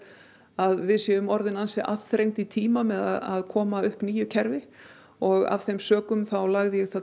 að við séum orðin aðþrengd í tíma með að koma upp nýju kerfi og af þeim sökum lagði